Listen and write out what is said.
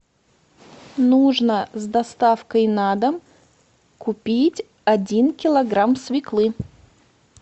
нужно с доставкой на дом купить один килограмм свеклы